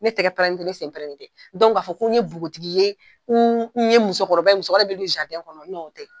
Ne tɛgɛ pɛrɛnnen tɛ , ne sen pɛrɛnnen tɛ ka fɔ ko n ye npogotigi ye n ye musokɔrɔba ye, musokɔrɔba mun be don kɔnɔ o tɛ .